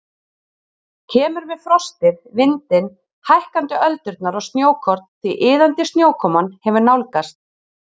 Kemur með frostið, vindinn, hækkandi öldurnar og snjókorn því iðandi snjókoman hefur nálgast.